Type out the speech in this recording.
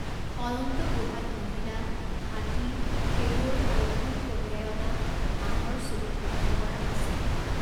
অনন্ত গুহাত মহিলা, হাতী, খেলুৱৈ আৰু ফুল কঢ়িয়াই অনা হাঁহৰ ছবি খোদিত কৰা আছে।